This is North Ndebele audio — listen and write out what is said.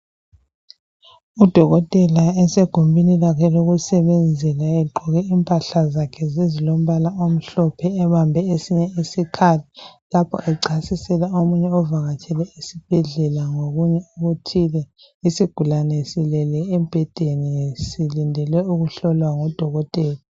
Udokotela esegumbini lakhe lokusebenzela egqoke impahla zakhe ezilombala omhlophe, ebambe esinye isikhali lapho echasisela omunye ovakatshele esibhedlela ngokunye okuthile. Isigulane silele embhedeni silindele ukuhlolwa ngudokotela.